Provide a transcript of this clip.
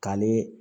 Ka ni